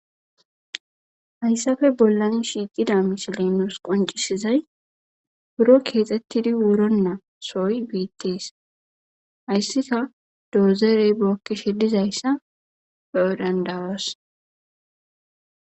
Hayssappe bollani shiiqqida misile nus qoncisizay buro keexxettidi wuronaa soy beetees.hayssika doozeerey bookki shidizayssa be7o dandawos.